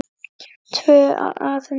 Tvö að nóttu